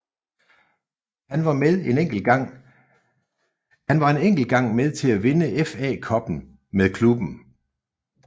Han var en enkelt gang med til at vinde FA Cuppen med klubben